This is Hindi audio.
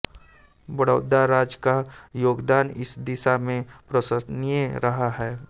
बड़ौदा राज्य का योगदान इस दिशा में प्रशंसनीय रहा है